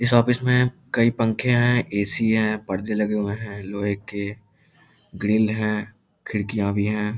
इस ऑफिस में कई पंखे हैं ए.सी. है पर्दे लगे हुए हैं लोहे के ग्रिल हैं खिड़कियाँ भी हैं।